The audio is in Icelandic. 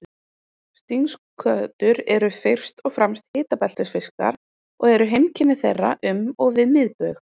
Stingskötur eru fyrst og fremst hitabeltisfiskar og eru heimkynni þeirra um og við miðbaug.